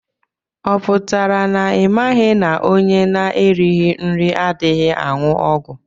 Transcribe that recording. Ọ pụtara na imaghi na ọnye na -erighi nri adịghị anwụ ọgwụ?